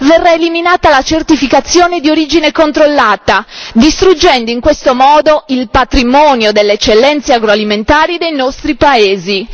Verrà eliminata la certificazione di origine controllata, distruggendo in questo modo il patrimonio delle eccellenze agroalimentari dei nostri paesi.